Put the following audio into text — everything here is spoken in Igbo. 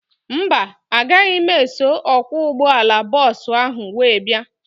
Mba, agaghị m eso ọkwọ ụgbọala bọọsu ahu wee bia